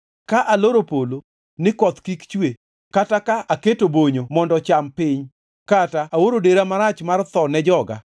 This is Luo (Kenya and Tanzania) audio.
“Ka aloro polo ni koth kik chuwe kata ka keto bonyo mondo ocham piny kata aoro dera marach mar tho ne joga,